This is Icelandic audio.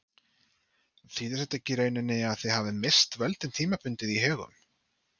Þýðir þetta ekki í rauninni að þið hafið misst völdin tímabundið í Högum?